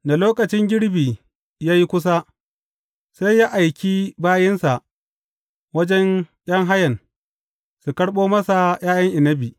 Da lokacin girbi ya yi kusa, sai ya aiki bayinsa wajen ’yan hayan, su karɓo masa ’ya’yan inabi.